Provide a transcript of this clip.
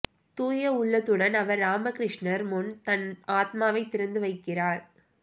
தூய உள்ளத்துடன் அவர் ராமகிருஷ்ணர் முன் தன் ஆத்வாவை திறந்து வைக்கிறார்